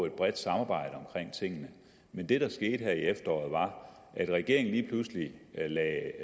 et bredt samarbejde men det der skete her i efteråret var at regeringen lige pludselig lagde